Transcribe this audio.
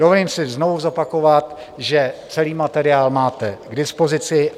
Dovolím si znovu zopakovat, že celý materiál máte k dispozici.